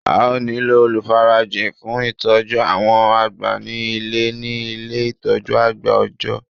A ó nílò olùfarajìn fun ìtọ́jú àwọn àgbà ní Ilé ní Ilé ìtọ́jú àgbà òòjọ́